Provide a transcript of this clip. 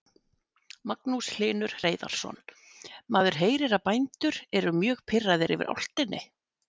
Magnús Hlynur Hreiðarsson: Maður heyrir að bændur eru mjög pirraðir yfir álftinni?